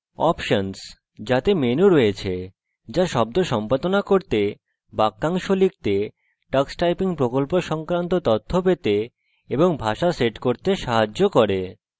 options – যাতে menus রয়েছে যা শব্দ সম্পাদনা করতে বাক্যাংশ লিখতে tux typing প্রকল্প সংক্রান্ত তথ্য পেতে এবং ভাষা set করতে সাহায্য করে